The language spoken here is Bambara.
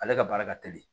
Ale ka baara ka teli